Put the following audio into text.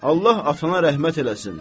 Allah atana rəhmət eləsin.